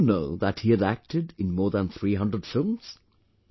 Do you know that he had acted in more than 300 films